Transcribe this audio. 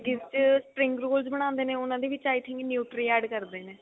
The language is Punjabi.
ਜੱਗੀ ਚ spring roll ਬਣਾਉਂਦੇ ਨੇ ਉਹਨਾ ਦੇ i think nutri add ਕਰਦੇ ਨੇ